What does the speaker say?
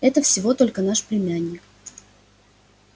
это всего только наш племянник